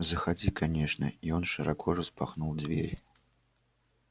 заходи конечно и он широко распахнул дверь